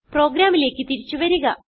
പ്രോഗ്രാമിലേക്ക് തിരിച്ചു വരിക